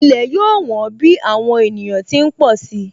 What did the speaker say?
Ilẹ̀ yóò wón bí àwọn ènìyàn ti ń pọ̀ si